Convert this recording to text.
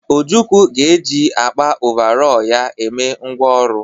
Ojukwu ga-eji akpa ọvarọọr ya eme ngwá ọrụ.